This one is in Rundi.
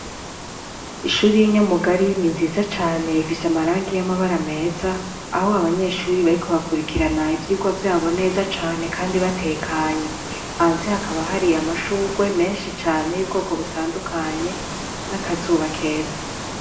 Ishuri yi Nyamugari ni nziza cane ifise amarangi y'amabara meza aho abanyeshuri bariko bakurikirana ivyigwa vyabo neza cane kandi batekanye hanze hakaba hari amashurwe menshi cane y'ubwoko butandukanye n'akazuba keza.